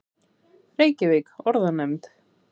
Reykjavík: Orðanefnd.